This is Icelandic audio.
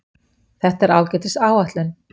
Þetta er ágætis áætlun.